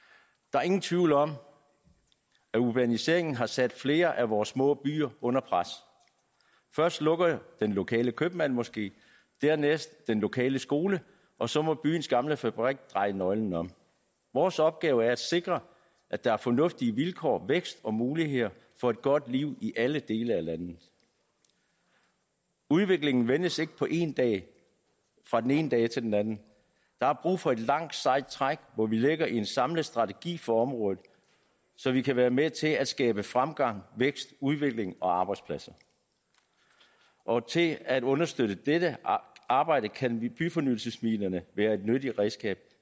der er ingen tvivl om at urbaniseringen har sat flere af vores små byer under pres først lukker den lokale købmand måske dernæst den lokale skole og så må byens gamle fabrik dreje nøglen om vores opgave er at sikre at der er fornuftige vilkår vækst og muligheder for et godt liv i alle dele af landet udviklingen vendes ikke på én dag fra den ene dag til den anden der er brug for et langt sejt træk hvor vi lægger en samlet strategi for området så vi kan være med til at skabe fremgang vækst udvikling og arbejdspladser og til at understøtte dette arbejde kan byfornyelsesmidlerne være et nyttigt redskab